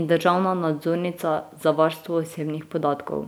in državna nadzornica za varstvo osebnih podatkov.